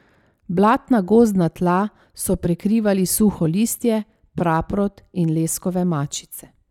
Blatna gozdna tla so prekrivali suho listje, praprot in leskove mačice.